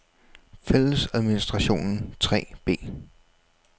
Fællesadministrationen 3b